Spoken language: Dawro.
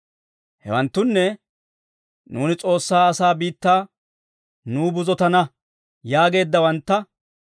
Hewanttunne, «Nuuni S'oossaa asaa biittaa nuw buzotana» yaageeddawantta.